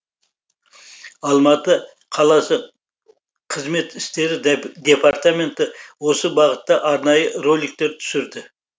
алматы қаласы қызмет істері департаменті осы бағытта арнайы роликтер түсірді